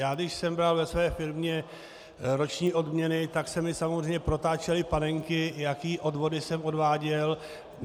Já když jsem bral ve své firmě roční odměny, tak se mi samozřejmě protáčely panenky, jaké odvody jsem odváděl.